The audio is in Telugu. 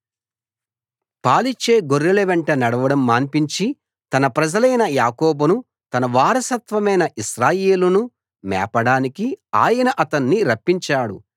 పాలిచ్చే గొర్రెల వెంట నడవడం మాన్పించి తన ప్రజలైన యాకోబును తన వారసత్వమైన ఇశ్రాయేలును మేపడానికి ఆయన అతణ్ణి రప్పించాడు